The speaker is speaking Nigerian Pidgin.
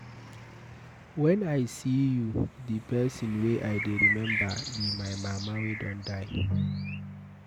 Wen I see you the person wey I dey remember be my mama wey don die